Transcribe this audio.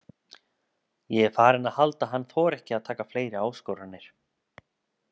Ég er farinn að halda að hann þori ekki að taka fleiri áskoranir.